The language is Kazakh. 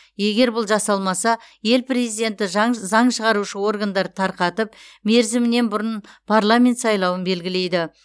егер бұл жасалмаса ел президенті заң шығарушы органды тарқатып мерзімінен бұрын парламент сайлауын белгілейді